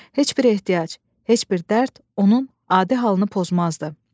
Heç bir ehtiyac, heç bir dərd onun adi halını pozmazdı.